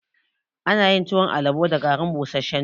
Ana yin tuwon alabo da garin busashen doya